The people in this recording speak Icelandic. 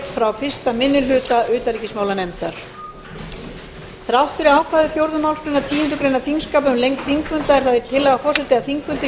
þrátt fyrir ákvæði fjórðu málsgreinar tíundu greinar þingskapa um lengd þingfunda er það tillaga forseta að þingfundur